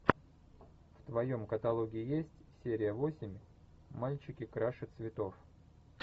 в твоем каталоге есть серия восемь мальчики краше цветов